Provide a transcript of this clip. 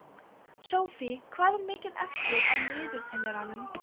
Sophie, hvað er mikið eftir af niðurteljaranum?